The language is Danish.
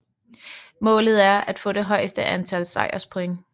Målet er at få det højeste antal sejrspoint